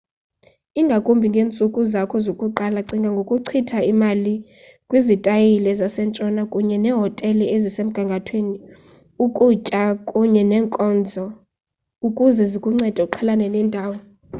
ingakumbi ngeentsuku zakho zokuqala cinga ngokuchitha imali kwizitayile zasentshona kunye neehotele ezisemgangathweni ukutya kunye neenkonzo ukuze zikuncede uqhelane nendawo